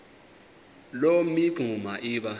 loo mingxuma iba